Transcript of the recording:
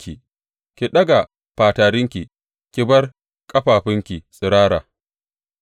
Ki ɗaga fatarinki ki bar ƙafafunki tsirara,